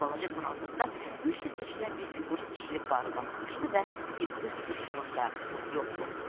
Balaca toranlıqda güclə seçilən bir fiqur sıçrayıb barıdan aşdı və bir göz qırpımında yox oldu.